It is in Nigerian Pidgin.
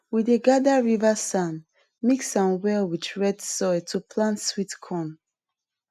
we dey gather river sand mix am well with red soil to plant sweet corn